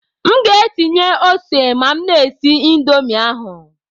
M ga-etinye ose ma m na-esi Indomi ahụ